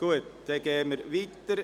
– Gut, dann fahren wir weiter.